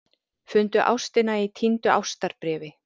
Fundu ástina í týndu ástarbréfi